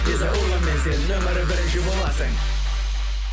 виза урбанмен сен нөмірі бірінші боласың